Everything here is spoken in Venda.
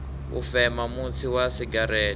u fema mutsi wa segereṱe